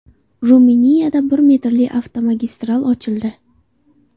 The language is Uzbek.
Ruminiyada bir metrli avtomagistral ochildi.